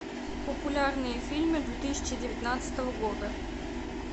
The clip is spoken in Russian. популярные фильмы две тысячи девятнадцатого года